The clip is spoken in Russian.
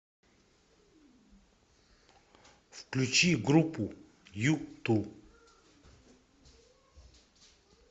включи группу юту